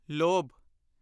ਲੋਭ